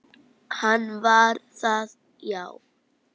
Hann var það, já.